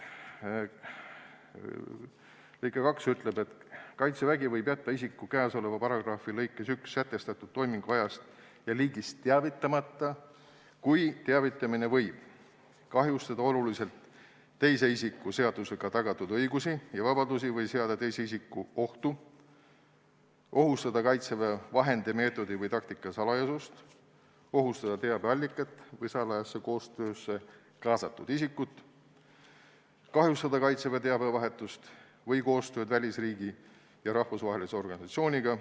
Lõige 2 ütleb, et Kaitsevägi võib jätta isiku käesoleva paragrahvi lõikes sätestatud toimingu ajast ja liigist teavitamata, kui teavitamine võib: 1) kahjustada oluliselt teise isiku seadusega tagatud õigusi ja vabadusi või seada teise isiku ohtu; 2) ohustada teabeallikat või salajasse koostöösse kaasatud isikut; 3) kahjustada Kaitseväe teabevahetust või koostööd välisriigi ja rahvusvahelise organisatsiooniga.